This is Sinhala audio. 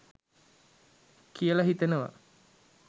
කියලා හිතනවා.